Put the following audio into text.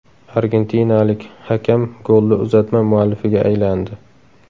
Argentinalik hakam golli uzatma muallifiga aylandi .